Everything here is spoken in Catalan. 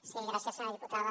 sí gràcies senyora diputada